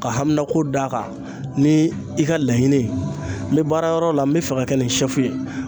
Ka haminako d'a kan ni i ka laɲini ye n be baarayɔrɔ la n be fɛ ka kɛ ni sɛfu ye